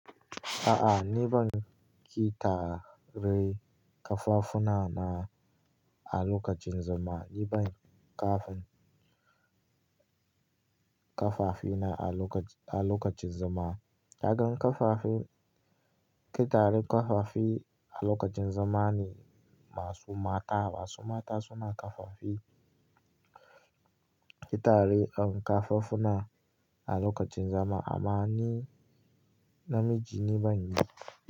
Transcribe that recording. A'a, ni ban ƙi tare kafafuna na a lokacin zama, ni ban kafin- ƙafafina a lokacin, a lokacin zama. Na gan ƙafafi, ƙi tare ƙafafi a lokacin zama ne masu mata. Masu mata suna ƙafafi ƙi tare kafafuna a lokacin zama amma ni namiji ni ban yi.